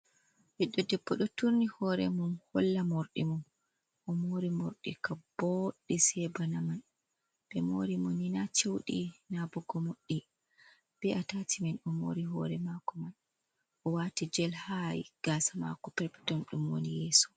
Ɓiɗɗo debbo ɗo turni hore mum holla mordi mum, o mori mordi ka boɗɗi se bana man, be mori mo ni na ceudi na bog gomoɗɗi be’atati man o mori hore mako man, o wati jel hai gasa mako peppeton ɗum woni yeso.